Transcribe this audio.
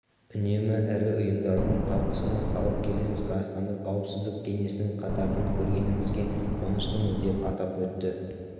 үнемі ірі ұйымдардың талқысына салып келеміз қазақстанды қауіпсіздік кеңесінің қатарынан көргенімізге қуаныштымыз деп атап өтті